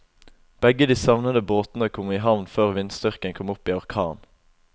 Begge de savnede båtene kom i havn før vindstyrken kom opp i orkan.